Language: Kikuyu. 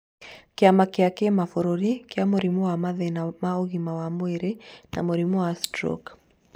Kĩama kĩa kĩbũrũri kĩa mũrimũ wa mathĩna ma ũgima wa mwĩrĩ na mũrimũ wa stroke.